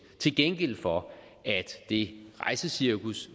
til gengæld for at det rejsecirkus